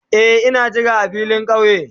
Eh, na jira a filin kauye.